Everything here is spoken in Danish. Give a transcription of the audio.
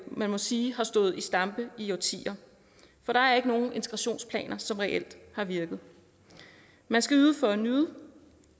man må sige har stået i stampe i årtier for der er ikke nogen integrationsplaner som reelt har virket man skal yde for at nyde